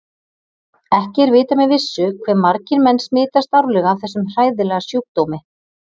Ekki er vitað með vissu hve margir menn smitast árlega af þessum hræðilega sjúkdómi.